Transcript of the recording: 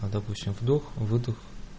а допустим вдох выдох